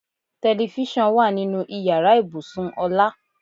Telifísàn wà nínú ìyára ibùsùn Ọlá.